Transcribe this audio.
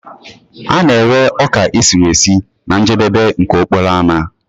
A na-ere ọka esiri esi na njedebe nke okporo ámá